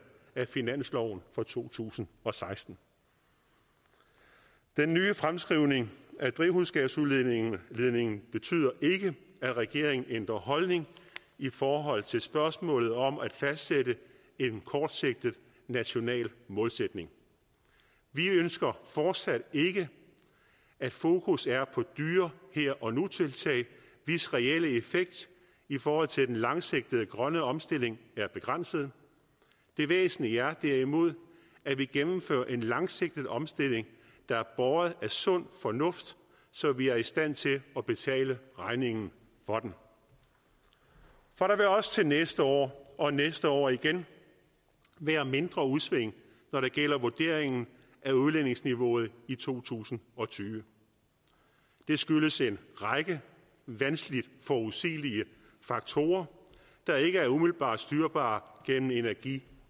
af finansloven for to tusind og seksten den nye fremskrivning af drivhusgasudledningen betyder ikke at regeringen ændrer holdning i forhold til spørgsmålet om at fastsætte en kortsigtet national målsætning vi ønsker fortsat ikke at fokus er på dyre her og nu tiltag hvis reelle effekt i forhold til den langsigtede grønne omstilling er begrænset det væsentlige er derimod at vi gennemfører en langsigtet omstilling der er båret af sund fornuft så vi er i stand til at betale regningen for den for der vil også til næste år og næste år igen være mindre udsving når det gælder vurderingen af udledningsniveauet i to tusind og tyve det skyldes en række vanskeligt forudsigelige faktorer der ikke er umiddelbart styrbare gennem energi